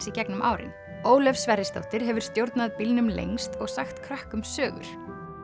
í gegnum árin Ólöf Sverrisdóttir hefur stjórnað bílnum lengst og sagt krökkum sögur